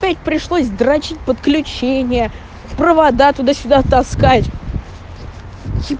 пришлось д подключение провода туда-сюда таскать